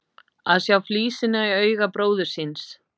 Að sjá flísina í auga bróður síns